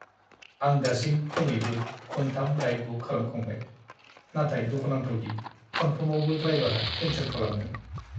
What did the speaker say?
आं दासिम खमैबो खुनथाम राइड बुक खालामखांबाय, नाथाय दुखुनांथाव दि खनफ्रोमावबो ड्राइबारा केन्सेल खालामदों।